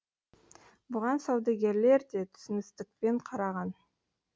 бұған саудагерлер де түсіністікпен қараған